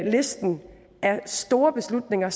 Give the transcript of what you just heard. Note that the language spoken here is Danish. listen af store beslutninger